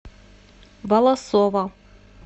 волосово